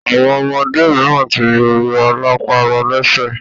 Àwọn ọmọdé mìíràn tí rọ lápá, rọ lẹsẹ.